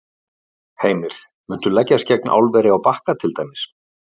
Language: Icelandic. Heimir: Muntu leggjast gegn álveri á Bakka til dæmis?